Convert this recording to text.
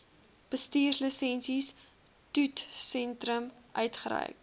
bestuurslisensie toetssentrum uitgereik